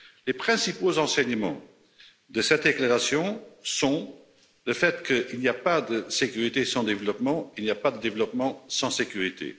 Les principaux enseignements de cette déclaration sont qu'il n'y a pas de sécurité sans développement et qu'il n'y a pas de développement sans sécurité.